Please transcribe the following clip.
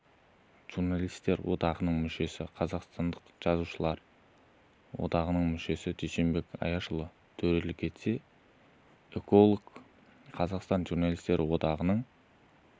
журналистер одағының мүшесі қазақстан жазушылар одағының мүшесі дүйсенбек аяшұлы төрелік етсе эколог-ақын қазақстан журналистер одағының